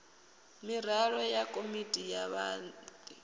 miraḓo ya komiti ya wadi